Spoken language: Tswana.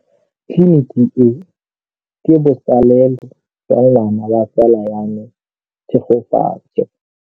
Tleliniki e, ke botsalêlô jwa ngwana wa tsala ya me Tshegofatso.